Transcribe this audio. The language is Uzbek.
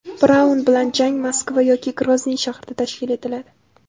Braun bilan jang Moskva yoki Grozniy shahrida tashkil etiladi.